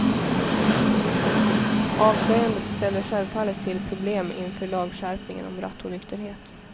Avslöjandet ställer självfallet till problem inför lagskärpningen om rattonykterhet.